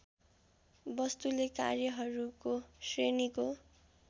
वस्तुले कार्यहरूको श्रेणीको